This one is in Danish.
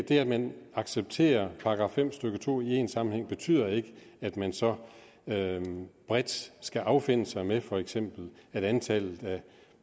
at man accepterer § fem stykke to i en sammenhæng betyder ikke at man så bredt skal affinde sig med at for eksempel antallet af